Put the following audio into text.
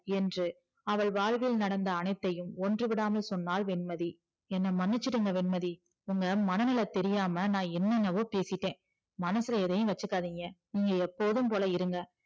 என்று அவள் வாழ்வில் நடந்த அனைத்தையும் ஒன்று விடாமல் சொன்னால் என்ன மன்னிச்சுடுங்க வெண்மதி உங்க மனநில தெரியாம நா என்னன்னவோ பேசிட்ட மனசுல எதையும் வச்சிக்காதிங்க நீங்க எப்போதும் போல இருங்க